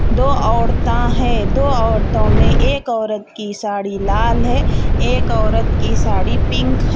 दो औरता है दो ओरतो में एक औरत की साड़ी लाल है एक औरत की साड़ी पिक है.